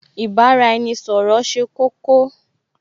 Ì bá-ra-ẹni-ṣọ̀rọ̀ ṣe kókó